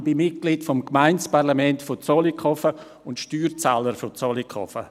Ich bin Mitglied des Gemeindeparlaments von Zollikofen und Steuerzahler von Zollikofen.